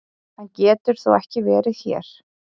Hann getur þó ekki verið hér!